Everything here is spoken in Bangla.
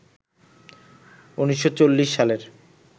১৯৪০ সালের